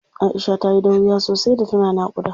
Aisha tayi dauriya sosai da tana naƙuda.